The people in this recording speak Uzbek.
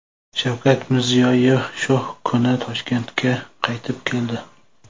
Shavkat Mirziyoyev shu kuni Toshkentga qaytib keldi .